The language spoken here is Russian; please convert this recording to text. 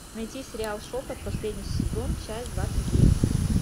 найти сериал шепот последний сезон часть двадцать девять